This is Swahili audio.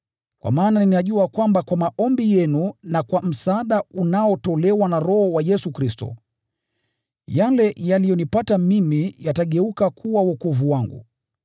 kwa maana ninajua kwamba kwa maombi yenu na kwa msaada unaotolewa na Roho wa Yesu Kristo, yale yaliyonipata mimi yatageuka kuwa wokovu wangu.